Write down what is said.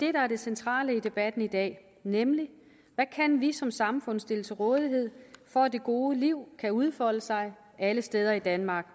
er det centrale i debatten i dag nemlig hvad vi som samfund kan stille til rådighed for at det gode liv kan udfolde sig alle steder i danmark